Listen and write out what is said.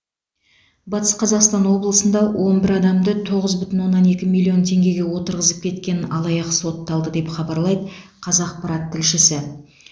батыс қазақстан облысында он бір адамды тоғыз бүтін оннан екі миллион теңгеге отырғызып кеткен алаяқ сотталды деп хабарлайды қазақпарат тілшісі